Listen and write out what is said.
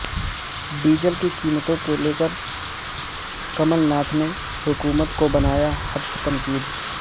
diesel کی قیمتوں کو لیکر کمل ناتھ نے حکومت کو بنایا ہدف تنقید